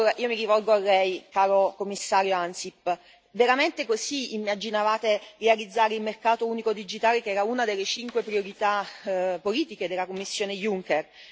Io mi rivolgo a Lei, Commissario Ansip, veramente così immaginavate di realizzare il mercato unico digitale che era una delle cinque priorità politiche della Commissione Juncker?